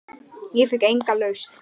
Ég fékk enga lausn.